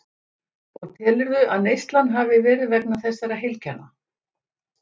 Og telurðu að neyslan hafi verið vegna þessara heilkenna?